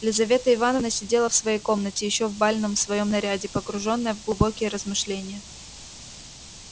лизавета ивановна сидела в своей комнате ещё в бальном своём наряде погружённая в глубокие размышления